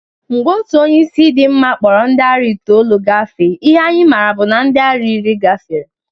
Mgbe otu onye isi dị mma kpọrọ ndị ara itoolu gafee, ihe anyị mara bụ na ndị ara iri gafere